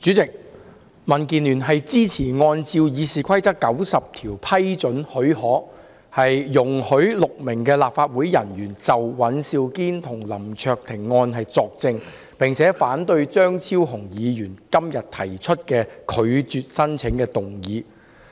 代理主席，民主建港協進聯盟支持根據《議事規則》第90條給予許可，容許6名立法會人員就尹兆堅議員及林卓廷議員的案件作證，並反對張超雄議員今天提出的"拒絕給予許可"的議案。